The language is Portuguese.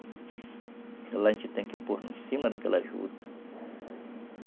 Lá a gente tem que pôr em cima daquela juta.